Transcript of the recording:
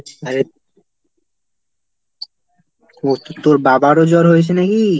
আরে, তোর বাবারও জ্বর হয়েছে নাকি?